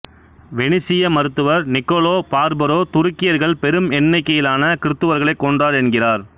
வெனிசிய மருத்துவர் Niccolo Barbaro துருக்கியர்கள் பெரும் எண்ணிக்கையிலான கிறுத்துவர்களை கொன்றார் என்கிறார்